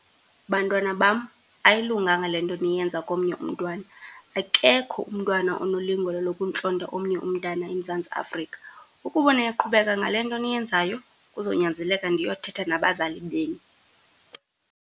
Bantwana bam, ayilunganga le nto niyenza komnye umntwana. Akekho umntwana onelungelo lokuntlonta omnye umntana eMzantsi Afrika. Ukuba niyaqhubeka ngale nto niyenzayo, kuzonyanzeleka ndiyothetha nabazali benu.